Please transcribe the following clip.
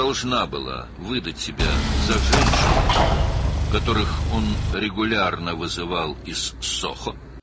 O, özünü Soho-dan mütəmadi olaraq çağırdığı qadın kimi təqdim etməli idi.